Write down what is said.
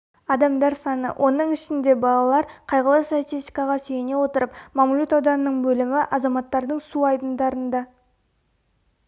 адамдар саны оның ішінде бала қайғылы статистикаға сүйене отырып мамлют ауданының бөлімі азаматтардың су айдындарында